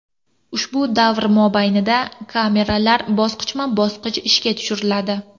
Ushbu davr mobaynida kameralar bosqichma-bosqich ishga tushiriladi.